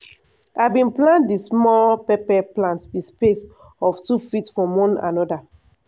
i bin plant di small pepper plant with space of two feet from one anoda.